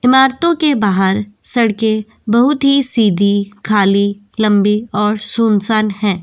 इमारतो के बाहर सड़के बहुत ही सीधी खाली लंबी और सुनसान है।